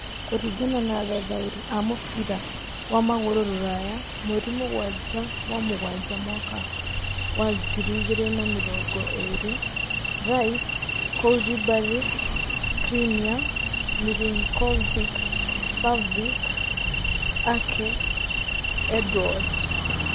Kũringana na athathaũri a mũbira wa magũrũ rũraya mweri mũgwanja wa mũgwanja mwaka wa Mwaka wa ngiri igĩrĩ na mĩrongo ĩĩrĩ: Rice, Koulibaly, Skriniar, Milinkovic-Savic, Ake, Edouard